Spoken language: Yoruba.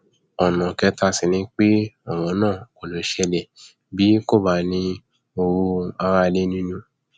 ọnà kẹta sì ni pé ọrọ náà kò lè ṣẹlẹ bí kò bá ní owó aráalé nínú